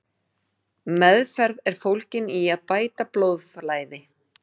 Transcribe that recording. Meðferð er fólgin í að bæta blóðflæði.